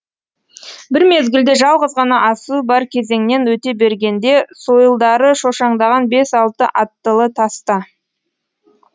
бір мезгілде жалғыз ғана асуы бар кезеңнен өте бергенде сойылдары шошаңдаған бес алты аттылы таста